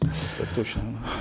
так точно